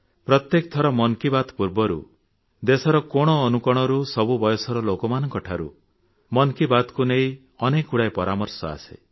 ପ୍ରତ୍ୟେକ ଥର ମନ କି ବାତ୍ ପୂର୍ବରୁ ଦେଶର କୋଣ ଅନୁକୋଣରୁ ସବୁ ବୟସର ଲୋକମାନଙ୍କଠାରୁ ମନ କି ବାତକୁ ନେଇ ଅନେକଗୁଡ଼ିଏ ପରାମର୍ଶ ଆସେ